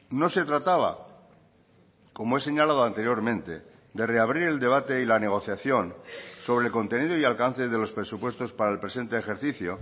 no se trataba como he señalado anteriormente de reabrir el debate y la negociación sobre el contenido y alcance de los presupuestos para el presente ejercicio